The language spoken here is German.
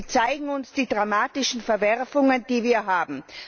Sie zeigen uns die dramatischen Verwerfungen, die wir haben.